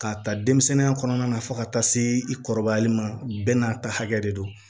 K'a ta denmisɛnninya kɔnɔna na fo ka taa se i kɔrɔbayali ma bɛɛ n'a ta hakɛ de don